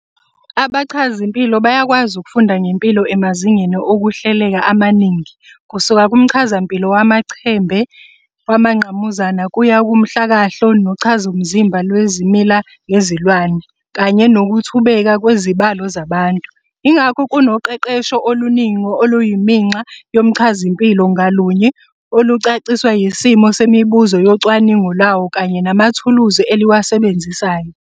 Abachazimpilo bayakwazi ukufunda ngempilo emazingeni okuhleleka amaningi, kusuka kuMchazampilo wamachembe wamangqamuzana kuya kuMhlakahlo nochazomzimba lwezimila nezilwane, kanye nokuThubeka kwezibalo zabantu. Ingakho kunoqeqesho oluningi oluyiminxa yomchazampilo, ngalunye olucaciswa yisimo semibuzo yocwaningo lwawo kanye namathuluzi eliwasebenzisayo.